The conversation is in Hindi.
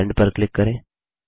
सेंड पर क्लिक करें